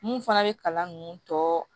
Mun fana bɛ kalan ninnu tɔ